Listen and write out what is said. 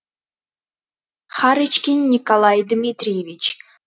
харочкин николай дмитриевич